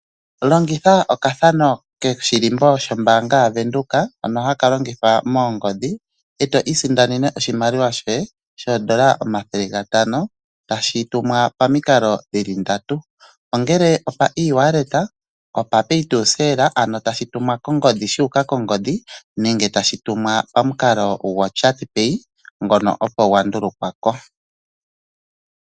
Longitha okathano koshilimbo shombanga yoFNB hono haka longithwa moongodhi, eto isindanene oshimaliwa shoye shondola 500 tashi tumwa pamikalo ndatu ongele opa ewallet, pay to cell ano tashi tumwa kongodhi shu uka kongodhi nenge tashi tumwa pamukalo gochat pay ngono opo gwa dhulukwa po.